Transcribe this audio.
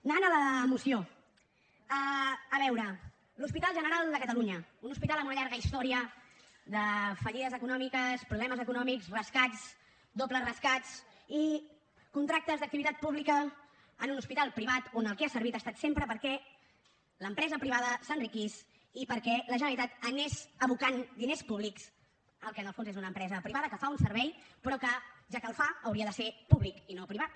anant a la moció a veure l’hospital general de catalunya un hospital amb una llarga història de fallides econòmiques problemes econòmics rescats dobles rescats i contractes d’activitat pública en un hospital privat que per al que ha servit ha estat sempre perquè l’empresa privada s’enriquís i perquè la generalitat anés abocant diners públics al que en el fons és una empresa privada que fa un servei però que ja que el fa hauria de ser públic i no privat